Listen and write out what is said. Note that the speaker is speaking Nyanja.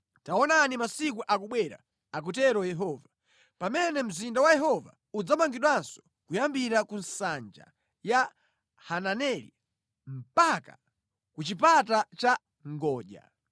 “Taonani masiku akubwera,” akutero Yehova, “pamene mzinda wa Yehova udzamangidwanso kuyambira ku Nsanja ya Hananeli mpaka ku Chipata cha Ngodya.